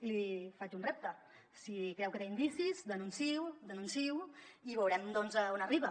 i li faig un repte si creu que té indicis denunciï ho i veurem doncs on arriba